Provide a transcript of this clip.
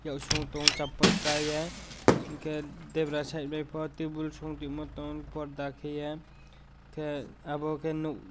ya song tongo chapal kai ye hinke debra site bai po tebol song toima tongo porda kaiye ke abo ke nog.